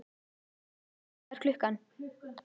Kali, hvað er klukkan?